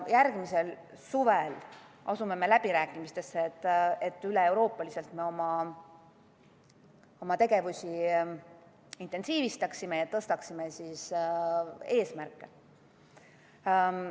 Järgmisel suvel asume läbirääkimistesse, et me üleeuroopaliselt oma tegevusi intensiivistaksime ja tõstaksime eesmärke.